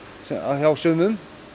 hjá sumum